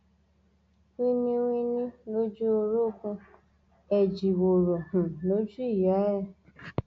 wínní wínní lójú orogun ẹjíwòrò um lójú ìyá ẹ